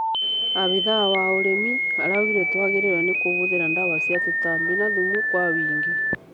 Afithaa wa ũrĩmĩaraũgire twagĩrĩirwo ni kũhũthĩra dawa cia tũtambi na thumu kwa ũingĩ